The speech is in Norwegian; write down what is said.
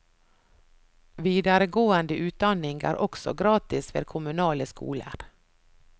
Videregående utdanning er også gratis ved kommunale skoler.